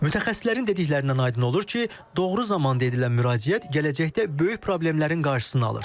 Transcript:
Mütəxəssislərin dediklərindən aydın olur ki, doğru zamanda edilən müraciət gələcəkdə böyük problemlərin qarşısını alır.